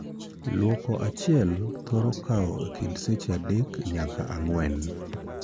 Luoko achiel thoro kawo e kind seche adek nyaka ang'wen.